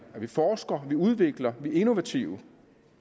at vi forsker at vi udvikler vi er innovative